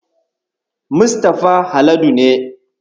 Mustafa Haladu ne.